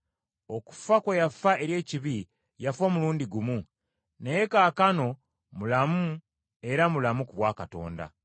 Okufa kwe yafa eri ekibi, yafa omulundi gumu, naye kaakano mulamu era mulamu ku bwa Katonda.